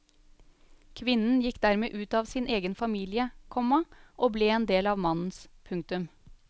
Kvinnen gikk dermed ut av sin egen familie, komma og ble en del av mannens. punktum